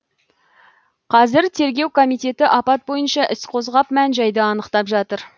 қазір тергеу комитеті апат бойынша іс қозғап мән жайды анықтап жатыр